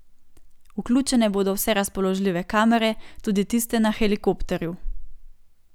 Vključene bodo vse razpoložljive kamere, tudi tiste na helikopterju.